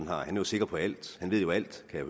har han er sikker på alt han ved jo alt kan